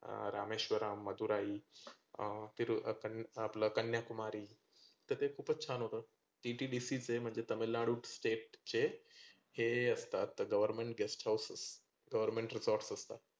अं रामेश्वरा, मधुराई अं तीरू आपलं कन्याकुमारी तर ते खुपचं छान होतं. TTDC चे म्हणजे तमिळनाडू state चे हे असतात government guest house government resorts असतात.